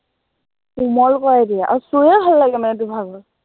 কোমল কৰি দিয়ে, আৰু চুইয়ে ভাল লাগে মানে তোৰ ভাগৰ